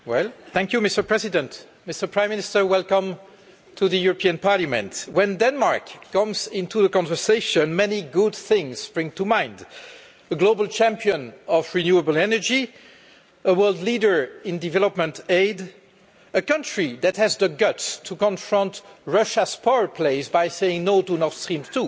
Mr President, I would like to welcome the Prime Minister to the European Parliament. When Denmark comes into the conversation, many good things spring to mind the global champion of renewable energy, a world leader in development aid, a country that has the guts to confront Russia's power plays by saying no' to Nord Stream 2 and